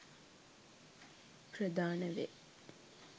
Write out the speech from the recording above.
ප්‍රධාන වේ.